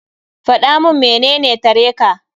Faɗa mun menene tare ka.